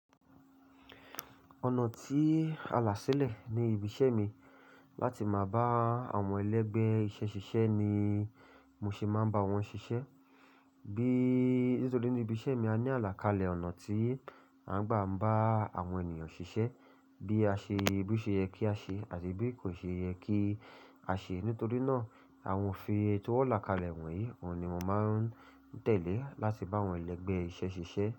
Ọ̀nà tí a là ṣílẹ̀ ní ibi iṣẹ́ mi láti máa bá àwọn ẹlẹgbẹ́ iṣẹ́ ṣiṣẹ́ ni mo ṣe máa ń bá wọn ṣiṣẹ́. Bí nítorí ní ibi iṣẹ́ mi a ní àlàkalẹ̀ ọ̀nà tí a ń gbà ń bá àwọn ènìyàn ṣiṣẹ́, bí a ṣe, bí o ṣe yẹ kí á ṣe àti bí kò ṣe ye kí a ṣe. Nítorí náà, àwọn òfin èyi ti won làkalẹ̀ wọ̀nyí, ohun ni mo máa ń tẹ̀lé láti bá àwọn ẹlẹgbẹ́ iṣẹ́ ṣiṣẹ́